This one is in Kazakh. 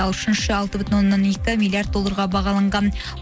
ал үшінші алты бүтін оннан екі миллиард долларға бағаланған